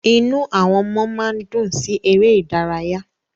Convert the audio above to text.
Inú àwọn ọmọ máa ń dùn sí ère idaraya